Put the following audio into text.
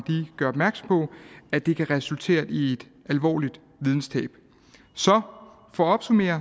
gør opmærksom på at det kan resultatere i et alvorligt videnstab så for at opsummere